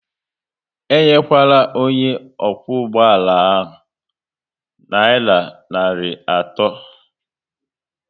Enyekwala onye okwu ụgbọala nayira narị atọ